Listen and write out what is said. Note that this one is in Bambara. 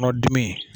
Kɔnɔdimi